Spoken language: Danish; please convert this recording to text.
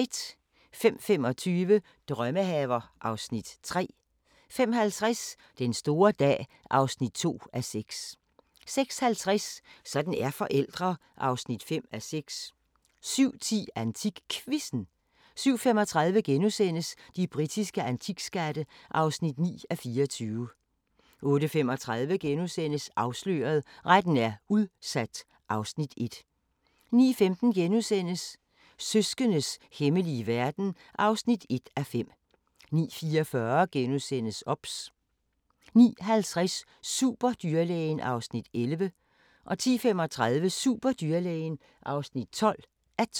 05:25: Drømmehaver (Afs. 3) 05:50: Den store dag (2:6) 06:50: Sådan er forældre (5:6) 07:10: AntikQuizzen 07:35: De britiske antikskatte (9:24)* 08:35: Afsløret – Retten er udsat (Afs. 1)* 09:15: Søskendes hemmelige verden (1:5)* 09:44: OBS * 09:50: Superdyrlægen (11:12) 10:35: Superdyrlægen (12:12)